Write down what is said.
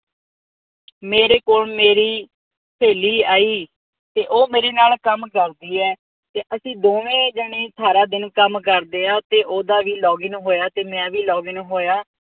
ਮੇਰੇ ਕੋਲ ਮੇਰੀ ਸੇਲੀ ਆਈ ਤੇ ਉਹ ਮੇਰੇ ਨਾਲ ਕੰਮ ਕਰਦੀ ਆਈ ਤੇ ਉਹ ਮੇਰੇ ਨਾਲ ਕੰਮ ਕਰਦੀ ਐ ਤੇ ਅਸੀਂ ਦੋਵੇਂ ਜਣੇ ਸਾਰਾ ਦਿਨ ਕੰਮ ਕਰਦੇ ਆ ਤੇ ਓਹਦਾ ਵੀ ਲੋਗਿਨ ਹੋਇਆ ਤੇ ਮੈਂ ਵੀ ਲੋਗਿਨ ਹੋਇਆ